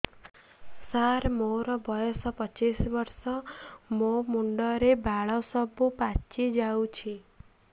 ସାର ମୋର ବୟସ ପଚିଶି ବର୍ଷ ମୋ ମୁଣ୍ଡରେ ବାଳ ସବୁ ପାଚି ଯାଉଛି